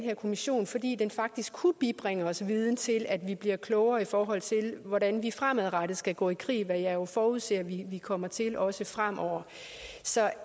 her kommission fordi den faktisk kunne bibringe os viden til at vi bliver klogere i forhold til hvordan vi fremadrettet skal gå i krig hvad jeg jo forudser vi kommer til også fremover så